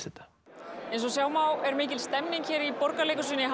þetta eins og sjá má er mikil stemning hér í Borgarleikhúsinu í